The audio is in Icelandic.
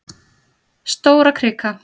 Stórakrika